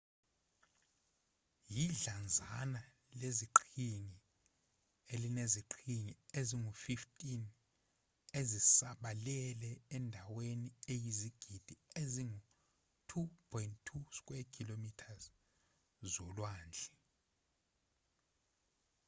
yidlanzana leziqhingi elineziqhingi ezingu-15 ezisabalele endaweni eyizigidi ezingu-2.2 km2 zolwandle